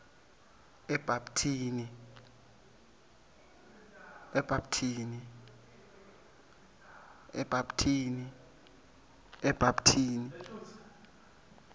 ebapthini